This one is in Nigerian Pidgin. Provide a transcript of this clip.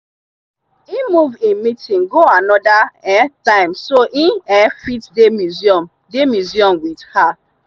he move him meeting go another um time so e um fit dey museum dey museum with her.